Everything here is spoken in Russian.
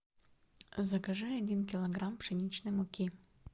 закажи один килограмм пшеничной муки